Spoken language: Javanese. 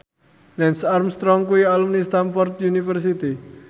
Lance Armstrong kuwi alumni Stamford University